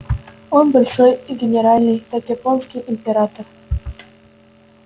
он большой и генеральный как японский император